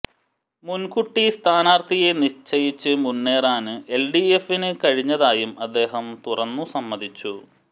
മുന്കൂട്ടി സ്ഥാനാര്ത്ഥിയെ നിശ്ചയിച്ച് മുന്നേറാന് എല്ഡിഎഫിന് കഴിഞ്ഞതായും അദ്ദേഹം തുറന്നുസമ്മതിച്ചു